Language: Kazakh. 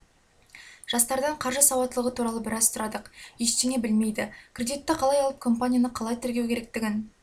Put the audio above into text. жастардан қаржы сауаттылығы туралы біраз сұрадық ештеңе білмейді кредитті қалай алып компанияны қалай тіркеу керектігін